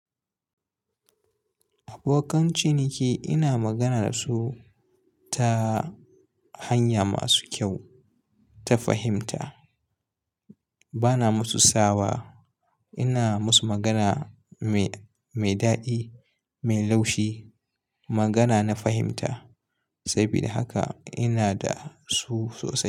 Abokan ciniki ina magana da su ta hanya masu kyau, ta fahimta. Bana musu sawa, ina musu magana mai, mai daɗi, mai laushi, magana na fahimta. Sabida haka ina da su sosai.